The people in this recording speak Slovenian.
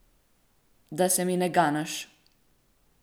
Da se mi ne ganeš.